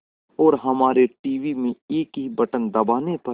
और हमारे टीवी में एक ही बटन दबाने पर